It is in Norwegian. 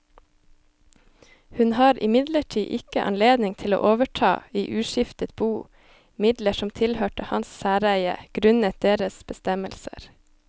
Hun har imidlertid ikke anledning til å overta i uskiftet bo midler som tilhørte hans særeie grunnet deres bestemmelser.